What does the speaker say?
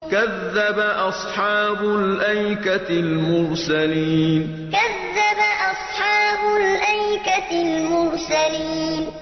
كَذَّبَ أَصْحَابُ الْأَيْكَةِ الْمُرْسَلِينَ كَذَّبَ أَصْحَابُ الْأَيْكَةِ الْمُرْسَلِينَ